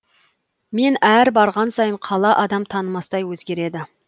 мен әр барған сайын қала адам танымастай өзгереді